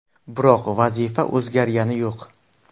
Biroq vazifa o‘zgargani yo‘q.